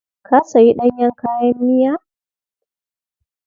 Ka sayi ɗanyen kayan miya?